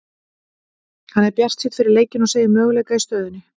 Hann er bjartsýnn fyrir leikinn og segir möguleika í stöðunni.